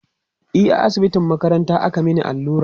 e a asibitin makaranta aka Mani allura